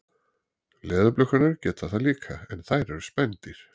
Leðurblökurnar geta það líka en þær eru spendýr.